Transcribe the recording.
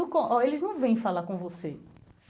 Eles não vêm falar com você.